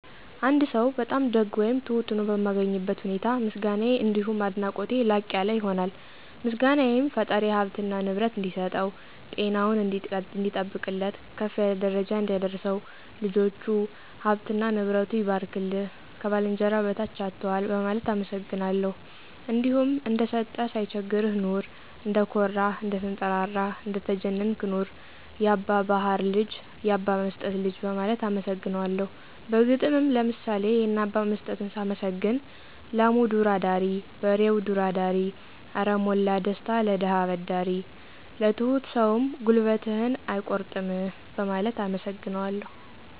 አንድ ሰው በጣም ደግ ወይም ትሁት ሆኖ በማገኝበት ሁኔታ ምስጋናየ አንዲሁም አድናቆቴ ላቅ ያለ ይሆናል። ምስጋናየም ፈጣሪ ሀብትና ንብረት እንዲሰጠው፣ ጤናውን እንዲጠብቅለት፣ ከፍ ካለ ደረጃ እንዲያደርሰው፣ ልጆቹ፥ ሀብትና ንብረቱ ይባርክልህ፣ ከባልንጀራህ በታች አትዋል በማለት አመሰግናለሁ። እንዲሁም እንደሰጠህ ሳይቸግርህ ኑር፣ እንደኮራህ፥ እንደተንጠራራህ እንደተጀነንክ ኑር፣ ያባ ባሀር ልጅ፥ ያባ መስጠት ልጅ በማለት አመሰግነዋለሁ። በግጥምም ለምሳሌ የነ አባ መስጠትን ሳመሰግን፦ ላሙ ዱር አዳሪ በሬው ዱር አዳሪ አረ ሞላ ደስታ ለደሀ አበዳሪ። ለትሁት ሰውም ጉልበትህን አይቆርጥምህ በማለት አመሰግነዋለሁ።